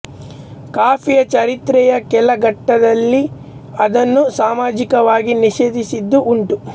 ಕಾಫಿಯ ಚರಿತ್ರೆಯ ಕೆಲ ಘಟ್ಟಗಳಲ್ಲಿ ಅದನ್ನು ಸಾಮಾಜಿಕವಾಗಿ ನಿಷೇಧಿಸಿದ್ದೂ ಉಂಟು